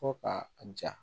Fo ka a ja